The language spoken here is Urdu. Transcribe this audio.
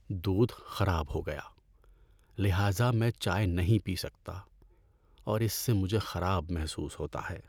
‏دودھ خراب ہو گیا لہذا میں چائے نہیں پی سکتا اور اس سے مجھے خراب محسوس ہوتا ہے۔